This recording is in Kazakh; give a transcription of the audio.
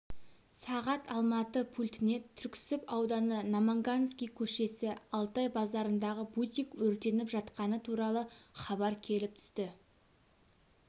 сағат алматы пультіне түрксіб ауданы намангансий көшесі алтай базарындағы бутик өртеніп жатқаны туралы хабар келіп түсті